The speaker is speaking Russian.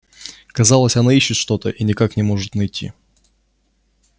казалось она ищет что то и никак не может найти